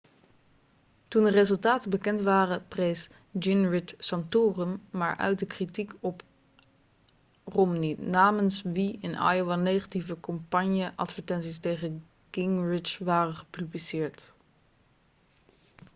toen de resultaten bekend waren prees gingrich santorum maar uitte kritiek op romney namens wie in iowa negatieve campagneadvertenties tegen gingrich waren gepubliceerd